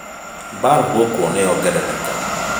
Mbara gũkũ nĩyongerereka